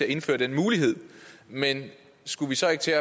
indført den mulighed men skulle vi så ikke tage